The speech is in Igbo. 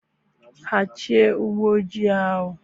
Hichaa ụgbọ ojii ahụ!